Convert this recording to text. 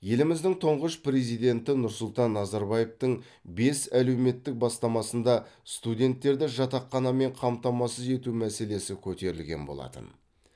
еліміздің тұңғыш президенті нұрсұлтан назарбаевтың бес әлеуметтік бастамасында студенттерді жатақханамен қамтамасыз ету мәселесі көтерілген болатын